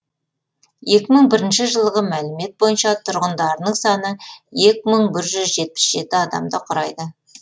екі мың бірінші жылғы мәлімет бойынша тұрғындарының саны екі мың бір жүз жетпіс жеті адамды құрайды